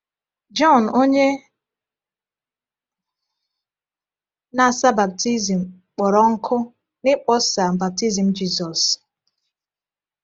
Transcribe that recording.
Jọn Onye Na-asa Baptizim kpọrọ nkụ n’ịkpọsa baptism Jizọs.